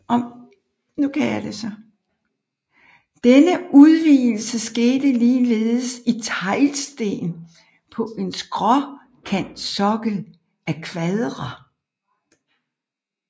Denne udvidelse skete ligeledes i teglsten på en skråkantsokkel af kvadre